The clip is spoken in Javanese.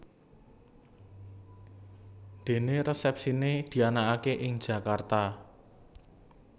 Dené resepsiné dianakaké ing Jakarta